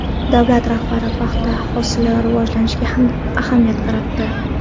Davlat rahbari paxta hosili rivojiga ham ahamiyat qaratdi.